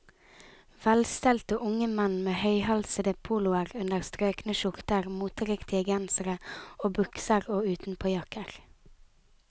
Velstelte unge menn med høyhalsede poloer under strøkne skjorter, moteriktige gensere og bukser og utenpåjakker.